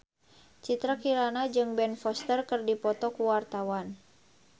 Citra Kirana jeung Ben Foster keur dipoto ku wartawan